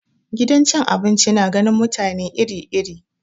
Gidan cin abinci na ganin mutane iri iri.